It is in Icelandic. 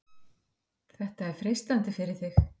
Er þetta freistandi fyrir þig?